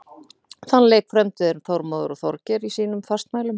Þann leik frömdu þeir Þormóður og Þorgeir í sínum fastmælum.